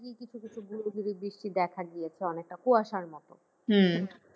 কিছু কিছু বুড়ি গুড়ি বৃষ্টি দেখা দিয়েছে অনেকটা কুয়াশার মত।